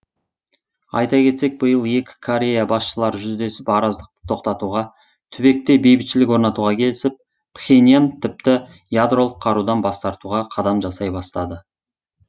айта кетсек биыл екі корея басшылары жүздесіп араздықты тоқтатуға түбекте бейбітшілік орнатуға келісіп пхеньян тіпті ядролық қарудан бас тартуға қадам жасай бастады